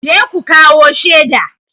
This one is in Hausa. Je ku kawo shaida!